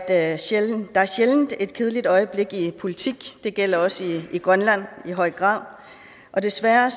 er sjældent et kedeligt øjeblik i politik det gælder også i grønland i høj grad desværre